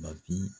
Bafin